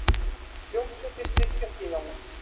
Hljómsveitir styrkja Stígamót